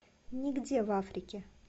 нигде в африке